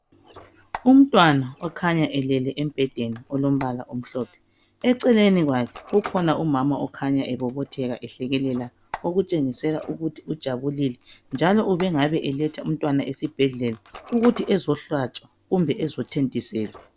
Umntwana okhanya elele embhedeni olombala omhlophe eceleni kwakhe ukhona umama okhanya ebobotheka ehlekelela okutshengisela ukuthi ujabulile njalo ubengabe eletha umntwana esibhedlela ukuthi ezohlatshwa kumbe ezothontiselwa.